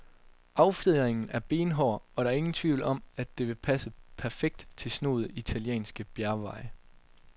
Affjedringen er benhård, og der er ingen tvivl om, at det vil passe perfekt til snoede italienske bjergveje.